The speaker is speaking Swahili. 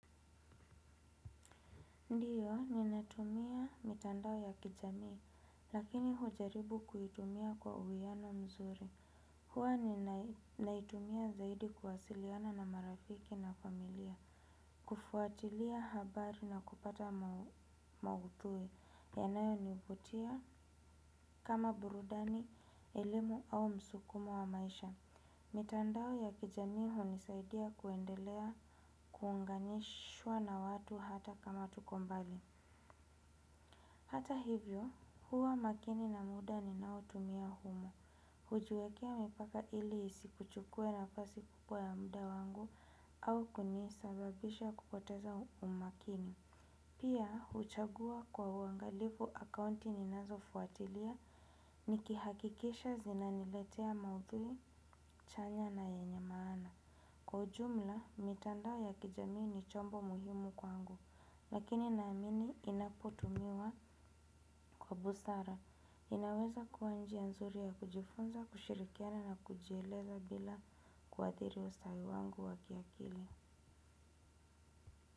Ndiyo, ninatumia mitandao ya kijamii, lakini hujaribu kuitumia kwa uwiano mzuri. Huwa ninaitumia zaidi kuwasiliana na marafiki na familia, kufuatilia habari na kupata mauthui, yanayo nivutia kama burudani, elimu au msukumo wa maisha. Mitandao ya kijamii hunisaidia kuendelea kuunganishwa na watu hata kama tukombali. Hata hivyo, huwa makini na muda ni nao tumia humo. Hujuwekea mipaka ili isikuchukue na fasi kubwa ya muda wangu au kunisababisha kupoteza umakini. Pia, uchagua kwa uangalifu akaunti ninazo fuatilia ni kihakikisha zinaniletea maudhui, chanya na yenye maana. Kwa ujumla, mitandao ya kijamii ni chombo muhimu kwangu, lakini naamini inapotumiwa kwa busara. Inaweza kuwa njia nzuri ya kujifunza, kushirikiana na kujieleza bila kuadhiri ustawi wangu wakiakili.